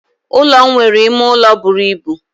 Ulo m nwere ime ụlọ buru ibu.